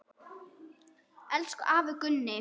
Elsku afi Gunni.